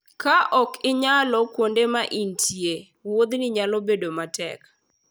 Ka ok ing'eyo kuonde ma intie, wuodhino nyalo bedo matek.